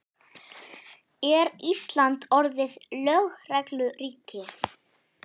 Er Ísland orðið lögregluríki?